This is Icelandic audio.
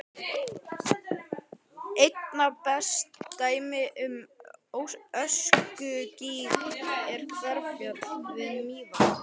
Einna best dæmi um öskugíg er Hverfjall við Mývatn.